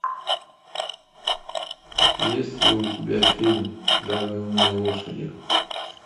есть ли у тебя фильм загнанные лошади